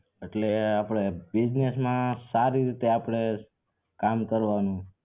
એટલે આપડે business માં આપડે સારી રીતે કામ કરવાનું